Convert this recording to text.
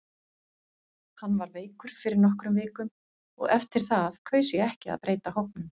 Hann var veikur fyrir nokkrum vikum og eftir það kaus ég ekki að breyta hópnum.